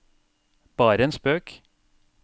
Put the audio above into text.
bare en spøk